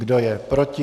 Kdo je proti?